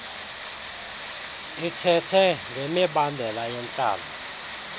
ithethe ngemibandela yentlalo